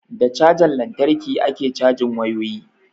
Da cajan lantarki ake cajin wayoyi